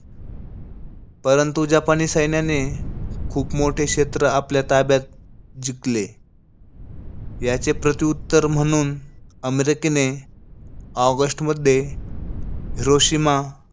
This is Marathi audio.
परंतु जपानी सैन्याने खूप मोठे क्षेत्र आपल्या ताब्यात जिकले. याचे प्रत्युत्तर म्हणून अमेरिकेने ऑगस्टमध्ये हिरोशिमा,